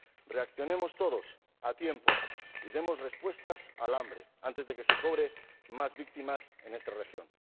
Reaccionemos todos a tiempo y demos respuestas al hambre antes de que se cobre más víctimas en esta región.